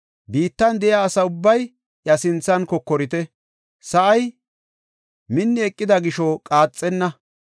Biittan de7iya asa ubbay iya sinthan kokorite; Sa7ay minni eqida gisho qaaxenna.